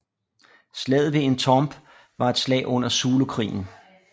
Slaget ved Intombe var et slag under Zulukrigen